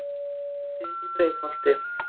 Mjóddin í Breiðholti.